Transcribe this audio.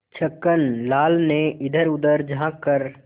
छक्कन लाल ने इधरउधर झॉँक कर